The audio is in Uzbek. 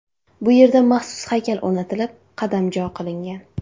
Bu yerga maxsus haykal o‘rnatilib, qadamjo qilingan.